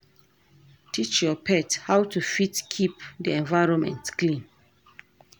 Teach your pet how to fit keep di environment clean